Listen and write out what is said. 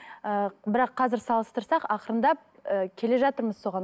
ы бірақ қазір салыстырсақ ақырындап ы келе жатырмыз соған